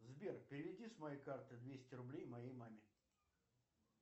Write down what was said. сбер переведи с моей карты двести рублей моей маме